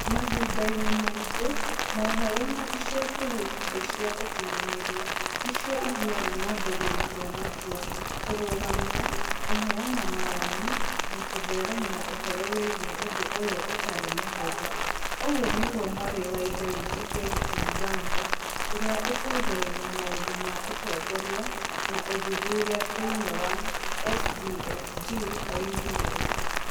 "Mahinda-inĩ maingĩ, mohoro, na ica ikuhĩ nenda cia ukiyanĩria, nĩcio ithiaga na mbere gũtua matua, kũrũgamia, kũheana mawoni na kũtheremia ũhoro wĩgiĩ ũndũ ũyũ ũtarĩ mũhũthũ, " ũguo nĩguo mwarĩ wa ĩthe witũ Verity Mganga, ũrĩa ũtongoragia maũndũ ma ũtongoria na ũthuthuria thĩinĩ wa SDfG oigire.